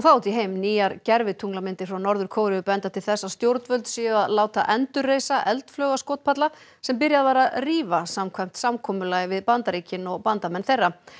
nýjar gervitunglamyndir frá Norður Kóreu benda til þess að stjórnvöld séu að láta endurreisa eldflaugaskotpalla sem byrjað var að rífa samkvæmt samkomulagi við Bandaríkin og bandamenn þeirra